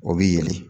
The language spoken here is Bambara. O bi yɛlɛ